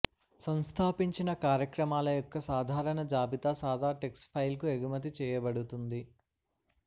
సంస్థాపించిన కార్యక్రమాల యొక్క సాధారణ జాబితా సాదా టెక్స్ట్ ఫైల్కు ఎగుమతి చేయబడుతుంది